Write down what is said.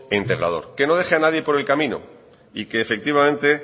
e integrador que no deje a nadie por el camino y que efectivamente